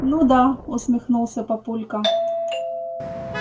ну да усмехнулся папулька